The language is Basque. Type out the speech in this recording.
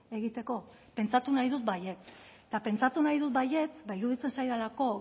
egiteko pentsatu nahi dut baietz eta pentsatu nahi dut baietz ba iruditzen zaidalako